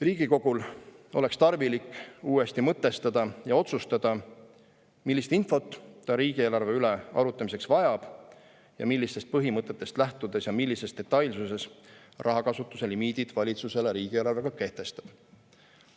Riigikogul oleks tarvilik uuesti mõtestada ja otsustada, millist infot ta riigieelarve üle arutlemiseks vajab ning millistest põhimõtetest lähtudes ja millises detailsuses rahakasutuse limiidid valitsusele riigieelarvega kehtestab.